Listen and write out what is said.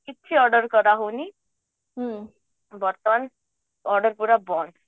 କିଛି order କରା ହଉନି ବର୍ତ୍ତମାନ order ପୁରା ବନ୍ଦ